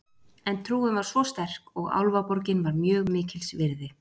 En trúin var svo sterk og Álfaborgin var mjög mikils virði.